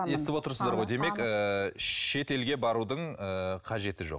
естіп отырсыздар ғой демек ыыы шетелге барудың ыыы қажеті жоқ